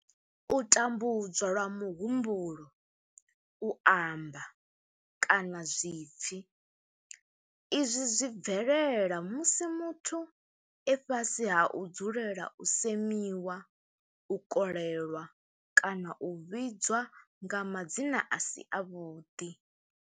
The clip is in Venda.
U tambudzwa lwa muhumbulo, u amba, kana zwipfi, Izwi zwi bvelela musi muthu e fhasi ha u dzulela u semiwa, u kolelwa kana u vhidzwa nga madzina a si avhuḓi.